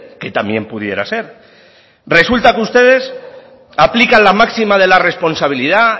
que también pudiera ser resulta que ustedes aplican la máxima de la responsabilidad